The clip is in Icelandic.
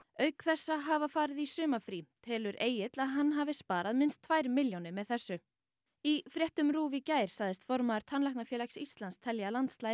auk þess að hafa farið í sumarfrí telur Egill að hann hafi sparað minnst tvær milljónir með þessu í fréttum RÚV í gær sagðist formaður Tannlæknafélags Íslands telja að landslagið